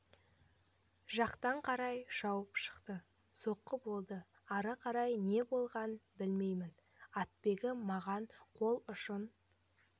жақтан қарай шауып шықты соққы болды ары қарай не болғанын білмеймін атбегі маған қол ұшын